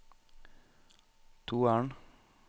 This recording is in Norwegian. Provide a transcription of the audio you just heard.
toeren